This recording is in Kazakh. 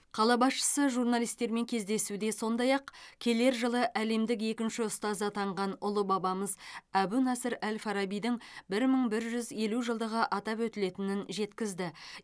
қала басшысы журналистермен кездесуде сондай ақ келер жылы әлемдік екінші ұстаз атанған ұлы бабамыз әбу насыр әл фарабидің бір мың бір жүз елу жылдығы атап өтілетіні жеткізді